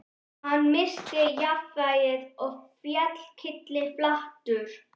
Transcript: Hann missti jafnvægið og féll kylliflatur.